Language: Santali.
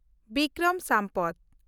ᱵᱤᱠᱨᱚᱢ ᱥᱟᱢᱯᱚᱛ